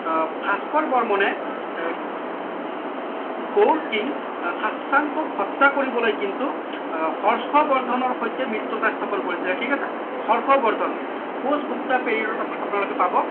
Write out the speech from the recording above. আহ ভাস্কৰ বৰ্মনে আহ gold king স্বাসংক হত্যা কৰিবলৈ কিন্তু আহ হৰ্ষবৰ্ধনৰ সৈতে মৃত্যতা স্থাপন কৰিছিলে ঠিক আছে হৰ্ষবৰ্ধন post গুপ্তা period ত আপোনালোকে